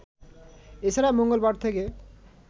এছাড়া মঙ্গলবার থেকে